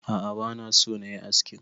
A'a bana so nayi askin